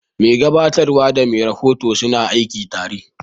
Mai gabatarwa da mai rahoto suna aiki tare.